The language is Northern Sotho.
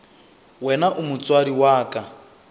wena o motswadi wa ka